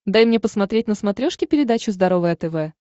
дай мне посмотреть на смотрешке передачу здоровое тв